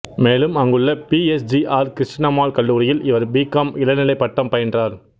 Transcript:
மேலும் அங்குள்ள P S G R Krishnammal கல்லூரியில் இவர் பி காம் இளநிலைப் பட்டம் பயின்றார்